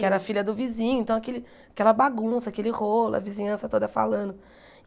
Que era filha do vizinho, então aquele aquela bagunça, aquele rolo, a vizinhança toda falando.